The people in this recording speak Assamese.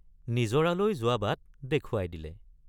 নিজৰালৈ যোৱা বাট দেখুৱাই দিলে।